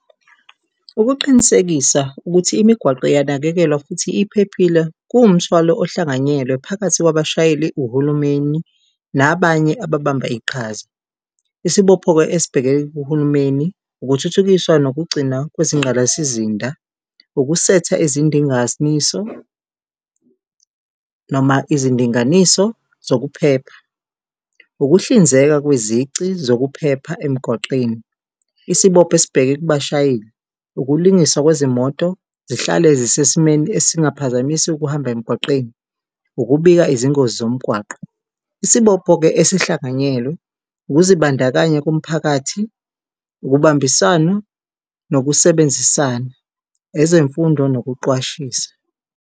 Ukuqinisekisa ukuthi imigwaqo iyanakekelwa futhi iphephile, kuwumthwalo oluhlanganyelwe phakathi kwabashayeli, uhulumeni nabanye ababamba iqhaza. Isibopho-ke esibheke kuhulumeni ukuthuthukiswa nokugcina kwezingqalasizinda, ukusetha noma izindinganiso zokuphepha, ukuhlinzeka kwizici zokuphepha emgwaqeni. Isibopho esibheke kubashayeli ukulungiswa kwezimoto zihlale zisesimeni esingaphazamisi ukuhamba emgwaqeni, ukubika izingozi zomgwaqo. Isibopho-ke ezihlanganyelwe ukuzibandakanya komphakathi, ukubambisana nokusebenzisana, ezemfundo nokuqwashisa.